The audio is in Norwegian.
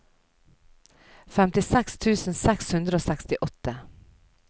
femtiseks tusen seks hundre og sekstiåtte